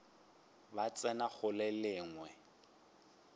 ba tsena go le lengwe